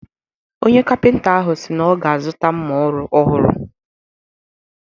Onye kapịnta ahụ si na ọ ga-azụta mma ọrụ ọhụrụ